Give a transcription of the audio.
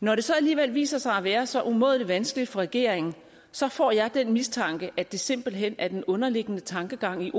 når det så alligevel viser sig at være så umådelig vanskeligt for regeringen så får jeg den mistanke at det simpelt hen er den underliggende tankegang i